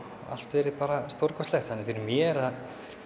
allt verið bara stórkostlegt þannig að fyrir mér að